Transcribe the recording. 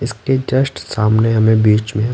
इसके जस्ट सामने हमें बीच में--